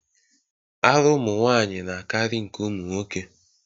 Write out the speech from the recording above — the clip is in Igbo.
Ara ụmụnwanyị na-akarị nke ụmụnwoke.